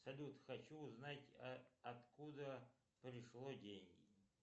салют хочу узнать откуда пришло деньги